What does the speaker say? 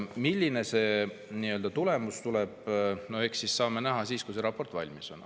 Milline see tulemus tuleb, eks me saame näha siis, kui see raport valmis on.